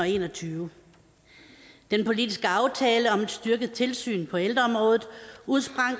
en og tyve den politiske aftale om et styrket tilsyn på ældreområdet udsprang